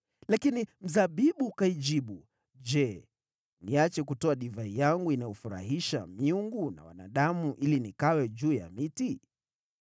“Lakini mzabibu ukaijibu, ‘Je, niache kutoa divai yangu inayofurahisha miungu na wanadamu ili nikawe juu ya miti?’